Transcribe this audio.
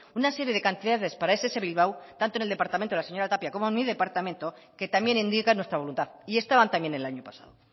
una serie de cantidades para ess bilbao tanto en el departamento de la señora tapia como mi departamento que también indica nuestra voluntad y estaban también el año pasado